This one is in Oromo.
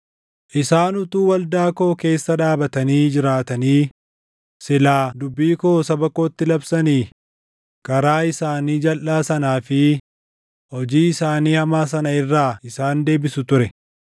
Isaan utuu waldaa koo keessa dhaabatanii jiraatanii silaa dubbii koo saba kootti labsanii, karaa isaanii jalʼaa sanaa fi hojii isaanii hamaa sana irraa isaan deebisu ture.